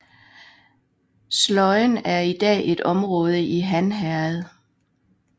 Sløjen er i dag et område i Hanherred